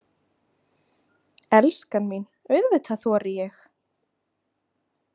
Elskan mín, auðvitað þori ég.